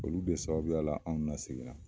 Olu de sababuyala anw la seginna